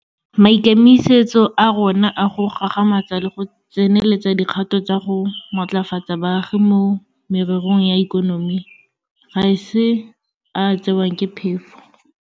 Maikemisetso a rona a go gagamatsa le go tseneletsa dikgato tsa go matlafatsa baagi mo mererong ya ikonomi ga se a a tsewang ke phefo.